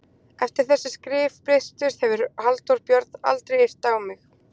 Eftir að þessi skrif birtust hefur Halldór Björn aldrei yrt á mig.